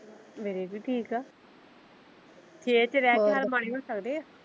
ਮੇਰੇ ਵੀ ਠੀਕ ਆ ਸ਼ਹਿਰ ਚ ਰਹਿ ਕੇ ਹਾਲ ਮਾੜੇ ਹੋ ਸਕਦੇ ਆ।